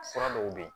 Fura dɔw bɛ yen